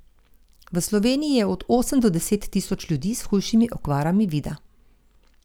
V Sloveniji je od osem do deset tisoč ljudi s hujšimi okvarami vida.